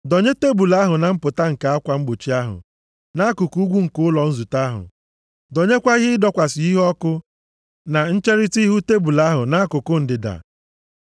Dọnye tebul ahụ na mpụta nke akwa mgbochi ahụ, nʼakụkụ ugwu nke ụlọ nzute ahụ. Dọnyekwa ihe ịdọkwasị iheọkụ na ncherita ihu tebul ahụ, nʼakụkụ ndịda.